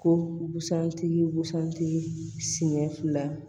Ko busan tigi busan tigi siɲɛ fila